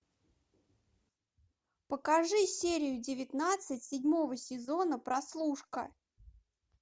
покажи серию девятнадцать седьмого сезона прослушка